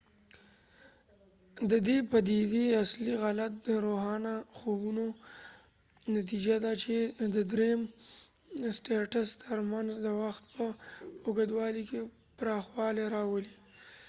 ددې پديدي اصلی علت د روښانه خوبونو نتیجه ده چې د ریم سټیټس تر منځ د وخت په اوږدوالی کې پراخوالی راولی